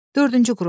Dördüncü qrup.